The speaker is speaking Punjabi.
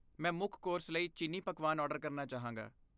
ਮੈਂ ਮੁੱਖ ਕੋਰਸ ਲਈ ਚੀਨੀ ਪਕਵਾਨ ਆਰਡਰ ਕਰਨਾ ਚਾਹਾਂਗਾ।